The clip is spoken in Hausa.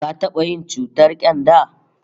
Ka taba yin ciwon ƙyanda?